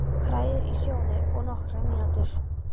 Hrærið í og sjóðið í nokkrar mínútur.